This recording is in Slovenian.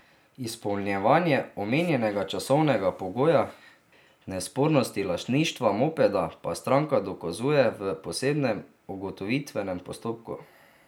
Izpolnjevanje omenjenega časovnega pogoja in nespornosti lastništva mopeda pa stranka dokazuje v posebnem ugotovitvenem postopku.